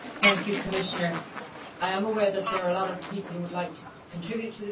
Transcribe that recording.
I am aware that there are a lot of people who would like to contribute to the debate in catch the eye.